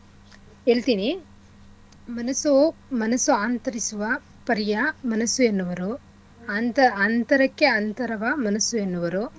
ಹೇಳ್ತಿನಿ ಮನಸ್ಸು ಮನಸ್ಸು ಆಂತರಿಸುವ ಪರಿಯ ಮನಸ್ಸು ಎನ್ನುವರು ಅಂತ ಅಂತರಕ್ಕೆ ಅಂತರವ ಮನಸ್ಸು ಎನ್ನುವರು.